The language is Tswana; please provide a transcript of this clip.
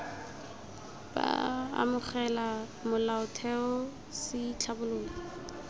b amogela molaotheo c tlhabolola